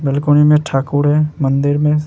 balcony में ठाकुर है मंदिर में --